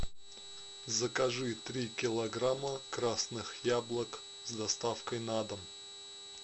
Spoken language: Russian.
закажи три килограмма красных яблок с доставкой на дом